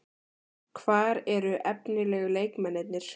Hvar eru efnilegu leikmennirnir?